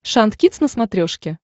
шант кидс на смотрешке